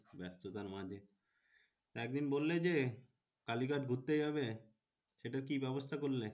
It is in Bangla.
ব্যাস্ততার মাঝে একদিন বললে যে কালীঘাট ঘুরতে যাবে? সেটার কি ব্যবস্থা করলে?